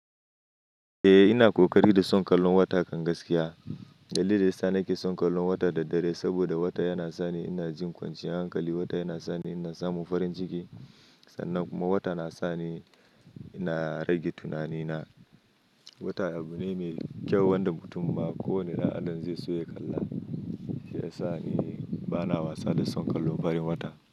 Eh ina kokari da son kallon wata kan gaskiya. Dalilin da ya sa nake son kallon wata da dare saboda wata yana sani ina jin kwanciyar hankali. Wata yana sani ina samun farin jiki. Sannan kuma wata na sa ni ina rage tunani na. Wata abu ne mai kyau wanda mutum ma ko wane ra'anan zai so ya kalla. Shi ya sa ni bana wasa da son kallon farin wata.